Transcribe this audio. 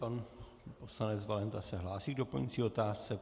Pan poslanec Valenta se hlásí k doplňující otázce.